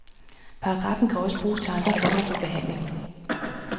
Paragraffen kan også bruges til andre former for behandling.